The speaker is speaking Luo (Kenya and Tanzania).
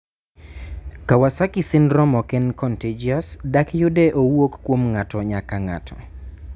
kawasaki syndrome oken contagious; dak yude owuok kuom ng'ato nyaka ng'ato